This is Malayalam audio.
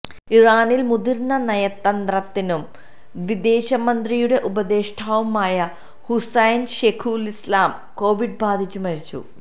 ഇറാനിൽ മുതിർന്ന നയതന്ത്രജ്ഞനും വിദേശമന്ത്രിയുടെ ഉപദേഷ്ടാവുമായ ഹുസൈൻ ഷേഖുലിസ്ലാം കോവിഡ് ബാധിച്ചു മരിച്ചു